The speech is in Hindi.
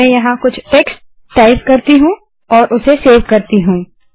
मैं यहाँ कुछ टेक्स्ट टाइप करती हूँ और उसे सेव करती हूँ